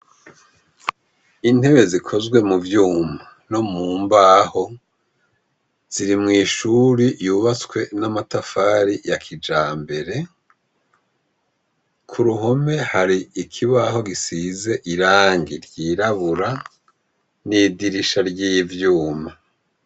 Intebe zikozwe mu vyuma no mu mbaho ziri mw'ishure yubatswe n'amatafari ya kijambere. Ku ruhome hari ikibaho gisize irangi ry'irabura n'idirisha ry'ivyuma.